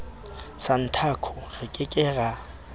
santaco re ke ke ra